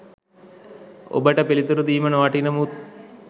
ඔබට පිළිතුරු දීම නොවටින මුත්